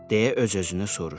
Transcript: deyə öz-özünü soruşdu.